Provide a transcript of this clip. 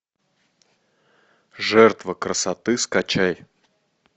жертва красоты скачай